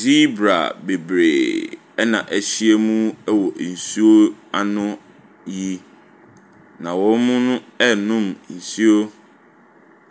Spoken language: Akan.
Zebra bebree na ahyia wɔ nsuano yi, na wɔrenom nsuo.